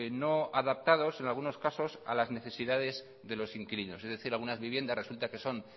no adaptados en algunos casos a las necesidades de los inquilinos es decir algunas viviendas resulta que son